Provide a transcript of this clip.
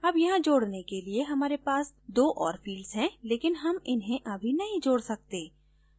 add यहाँ जोडने के लिए हमारे पास दो और fields हैं लेकिन हम इन्हें अभी नहीं जोड सकते